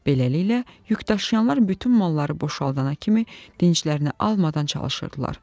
Beləliklə yük daşıyanlar bütün malları boşaldana kimi dinclərini almadan çalışırdılar.